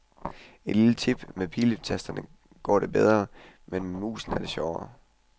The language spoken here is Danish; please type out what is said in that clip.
Et lille tip, med piletasterne går det bedre, men med musen er det sjovere.